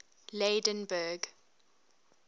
lydenburg